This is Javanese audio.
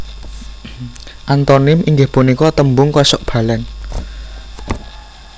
Antonim inggih punika tembung kosok balen